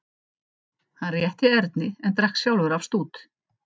Hann rétti Erni en drakk sjálfur af stút.